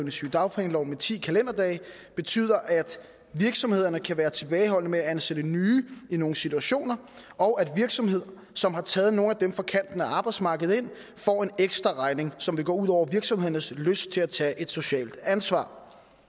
i sygedagpengeloven med ti kalenderdage betyder at virksomhederne kan være tilbageholdende med at ansætte nye i nogle situationer og at virksomheder som har taget nogle af dem fra kanten af arbejdsmarkedet ind får en ekstra regning som vil gå ud over virksomhedernes lyst til at tage et socialt ansvar